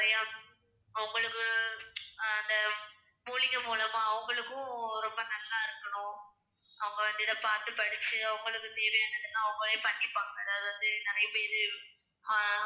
அவங்களுக்கும் ரொம்ப நல்லா இருக்கணும் அவங்க வந்து இதை பார்த்து படிச்சு அவங்களுக்கு தேவையானதை அவங்களே பண்ணிப்பாங்க அதாவது வந்து நிறைய பேரு ஆஹ்